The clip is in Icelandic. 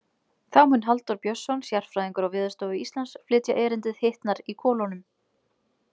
Þá mun Halldór Björnsson, sérfræðingur á Veðurstofu Íslands, flytja erindið Hitnar í kolunum.